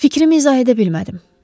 Fikrimi izah edə bilmədim.